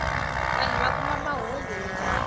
vanhu va kuma mahungu yo karhi